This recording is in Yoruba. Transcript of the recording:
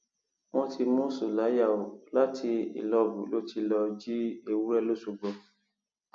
wọn ti mú sùláyà o láti ìlọbù ló ti lọọ jí ewúrẹ lọsọgbò